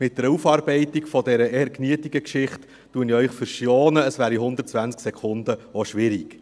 Mit einer Aufarbeitung dieser eher mühsamen Geschichte verschone ich Sie, das wäre in 120 Sekunden auch schwierig.